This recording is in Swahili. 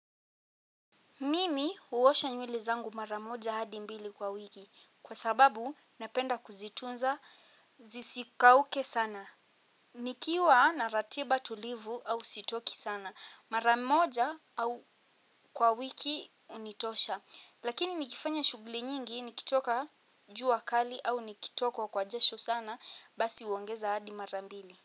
Mimi huosha nywele zangu mara moja hadi mbili kwa wiki kwa sababu ninapenda kuzitunza zisikauke sana. Nikiwa na ratiba tulivu au sitoki sana. Mara moja au kwa wiki hunitosha. Lakini nikifanya shughuli nyingi nikitoka jua kali au nikitokwa kwa jasho sana basi huongeza hadi mara mbili.